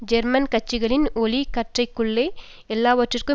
German கட்சிகளின் ஒளி கற்றைகளுக்குள்ளே எல்லாவற்றுக்கும்